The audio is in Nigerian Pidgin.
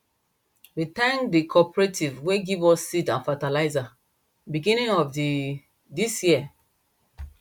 we thank the cooperative way give us seed and fertilizer beginning of the this year